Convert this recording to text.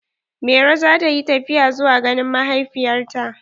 Mairo za ta yi tafiya zuwa ganin mahaifiyar ta.